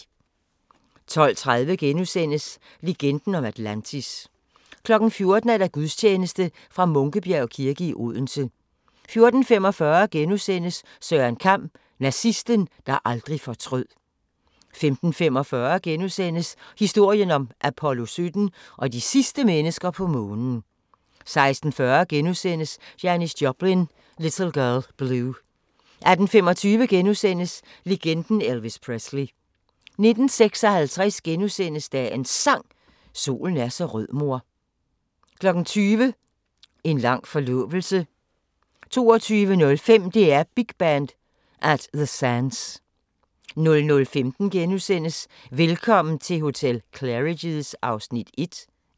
12:30: Legenden om Atlantis * 14:00: Gudstjeneste fra Munkebjerg kirke, Odense 14:45: Søren Kam: Nazisten, der aldrig fortrød * 15:45: Historien om Apollo 17 og de sidste mennesker på Månen * 16:40: Janis Joplin – Little Girl Blue * 18:25: Legenden Elvis Presley * 19:56: Dagens Sang: Solen er så rød mor * 20:00: En lang forlovelse 22:05: DR Big Band: At The Sands 00:15: Velkommen til hotel Claridge's (1:3)*